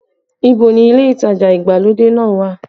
Ìbò ni ilé ìtajà ìgbàlódé náà wà?